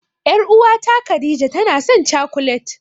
Ƴar'uwata Khadija tanasan cakulet.